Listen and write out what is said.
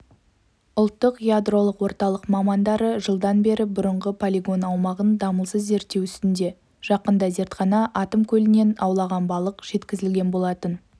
ұлттық ядролық орталық мамандары жылдан бері бұрынғы полигон аумағын дамылсыз зерттеу үстінде жақында зертханаға атом көлінен ауланған балық жеткізілген болатын